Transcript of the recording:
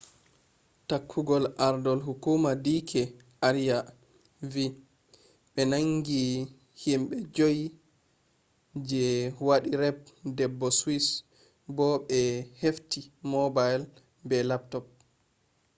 tokkugol ardol hukuma d k arya vi ɓe nangi himɓe joyi je waɗi raped debbo swiss bo ɓe hefti mobile be laptop